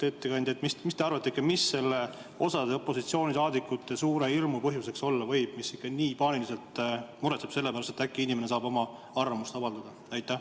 Ettekandja, mis te arvate, mis osa opositsiooni liikmete suure hirmu põhjuseks olla võib, mis nii paaniliselt paneb muretsema selle pärast, et äkki inimene saab oma arvamust avaldada?